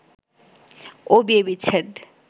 ও বিয়ে বিচ্ছেদ